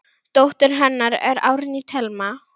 Dóttir hennar er Árný Thelma.